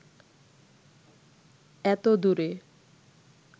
এত দূরে